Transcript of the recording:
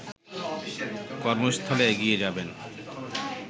কর্মস্থলে এগিয়ে যাবেন